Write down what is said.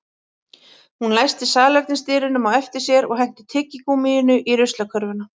Hún læsti salernisdyrunum á eftir sér og henti tyggigúmmíinu í ruslakörfuna